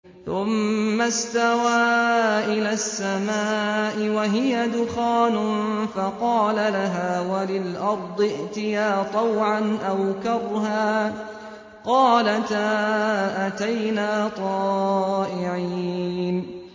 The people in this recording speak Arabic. ثُمَّ اسْتَوَىٰ إِلَى السَّمَاءِ وَهِيَ دُخَانٌ فَقَالَ لَهَا وَلِلْأَرْضِ ائْتِيَا طَوْعًا أَوْ كَرْهًا قَالَتَا أَتَيْنَا طَائِعِينَ